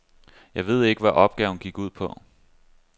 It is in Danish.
Jeg ved ikke, hvad opgaven gik ud på.